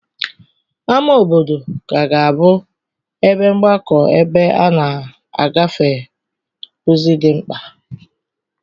Ámá obodo ka ga-abụ ebe mgbakọ̀ ebe a na-agafe ozi dị mkpa.